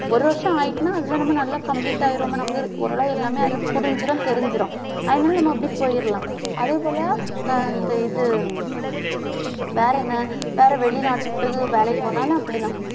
ஒரு வருஷம் ஆயிட்டுன்னா அதுல நம்ம நல்லா complete ஆயிருவோமே நமக்கு. ஓரளவு எல்லாமே அதுல புரிஞ்சுரும் தெரிஞ்சுரும் அதனால நம்ம அப்படியே போயிரலாம். அதே போல அஹ் இந்த இது வேற என்ன வேற வெளிநாட்டுக்கு வேலைக்கு போனாலும் அப்படித்தான்.